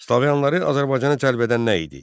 Slaviyalıları Azərbaycana cəlb edən nə idi?